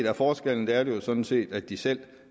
er forskellen er jo sådan set at de selv